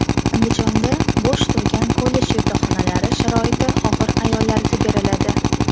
Andijonda bo‘sh turgan kollej yotoqxonalari sharoiti og‘ir ayollarga beriladi.